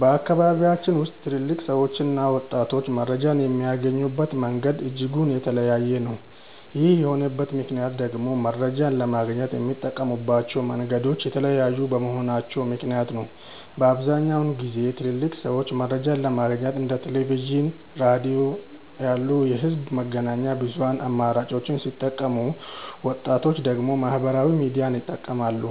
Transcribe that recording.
በአካባቢያችን ውስጥ ትልልቅ ሰዎችና ወጣቶች መረጃን የሚያገኙበት መንገድ እጅጉን የተለያየ ነው። ይህ የሆነበት ምክንያት ደግሞ መረጃን ለማግኘት የሚጠቀሙባቸው መንገዶች የተለያዩ በመሆናቸው ምክንያት ነው። በአብዛኛውን ጊዜ ትልልቅ ሰዎች መረጃን ለማግኘት እንደ ቴሌቪዥን፣ ሬዲዮ ያሉ የህዝብ መገናኛ ብዙሃን አማራጮችን ሲጠቀሙ ወጣቶች ደግሞ ማህበራዊ ሚዲያን ይጠቀማሉ።